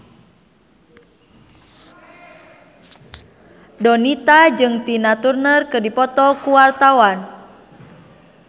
Donita jeung Tina Turner keur dipoto ku wartawan